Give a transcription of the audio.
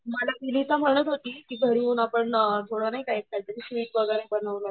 मला विनिता म्हणत होती की घरी येऊन आपण थोडा नाही का एक दिवशी बनवला होता